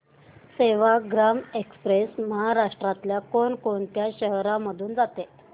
Sevagram express महाराष्ट्रातल्या कोण कोणत्या शहरांमधून जाते